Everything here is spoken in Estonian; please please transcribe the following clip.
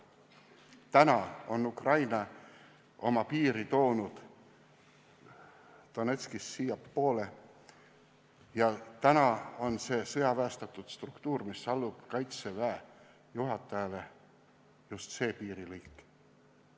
Nüüd on Ukraina toonud oma piiri Donetskist siiapoole ja praegu on seal sõjaväestatud struktuur, mis allub kaitseväe juhatajale, just see piirilõik.